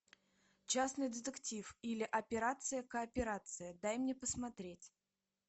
частный детектив или операция кооперация дай мне посмотреть